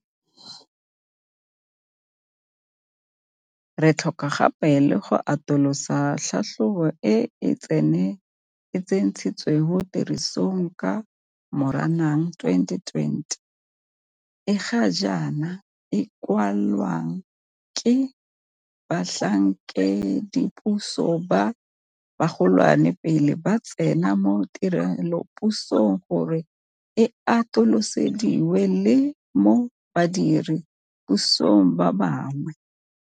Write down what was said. Re tlhoka gape le go atolosa tlhatlhobo e e tsentsweng tirisong ka Moranang 2020, e ga jaana e kwalwang ke batlhankedipuso ba bagolwane pele ba tsena mo tirelopusong, gore e atolosediwe le mo badire pusong ba bangwe.